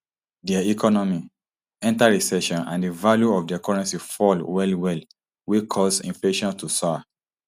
dia economy enta recession and di value of dia currency fall wellwell wey cause inflation to soar